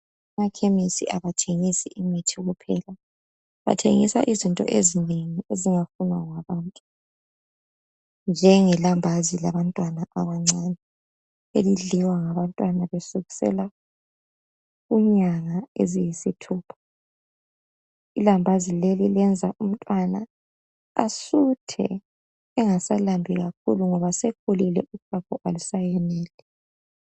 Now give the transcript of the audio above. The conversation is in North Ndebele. Emakhemisi abathengisi imithi kuphela, bathengisa izinto ezinengi ezingafunwa ngabantu njengelambazi labantwana abancane elidliwa ngabantwana kusukisela inyanga eziyisithupha. Ilambazi leli liyenza umntwana asuthe engasalambi kakhulu ngoba sekhulile uchago alusayeneli.